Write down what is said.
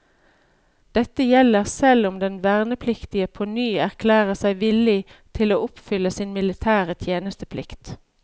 Dette gjelder selv om den vernepliktige påny erklærer seg villig til å oppfylle sin militære tjenesteplikt.